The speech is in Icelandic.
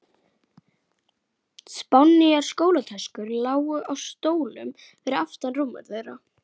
Við vorum þrjár í þessu.